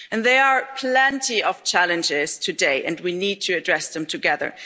And there are plenty of challenges today, and we need to address them together.